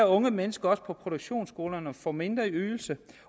unge mennesker på produktionsskolerne får også mindre i ydelse